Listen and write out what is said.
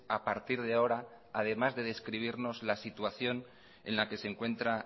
a partir de ahora además de describirnos la situación en la que se encuentra